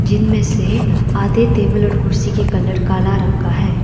जिनमें से आधे टेबल और कुर्सी के कलर काला रंग का है।